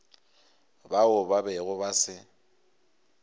bao ba bego ba se